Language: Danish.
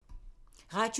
Radio 4